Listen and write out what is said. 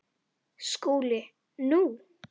SKÚLI: Nú?